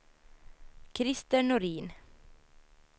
Krister Norin